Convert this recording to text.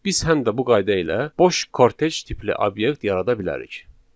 Biz həm də bu qayda ilə boş kortec tipli obyekt yarada bilərik.